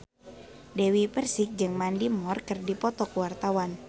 Dewi Persik jeung Mandy Moore keur dipoto ku wartawan